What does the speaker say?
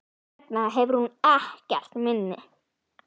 Hvers vegna hefur hún ekkert minni?